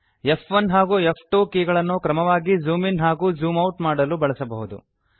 ಫ್1 ಹಾಗೂ ಫ್2 ಕೀಗಳನ್ನು ಕ್ರಮವಾಗಿ ಜೂಮ್ ಇನ್ ಹಾಗೂ ಜೂಮ್ ಔಟ್ ಮಾಡಲು ಬಳಸಬಹುದು